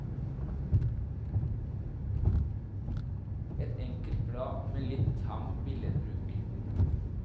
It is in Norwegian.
Et enkelt blad med litt tam billedbruk.